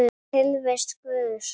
Tilvist Guðs